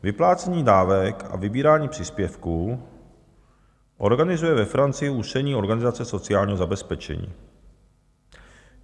Vyplácení dávek a vybírání příspěvků organizuje ve Francii ústřední organizace sociálního zabezpečení.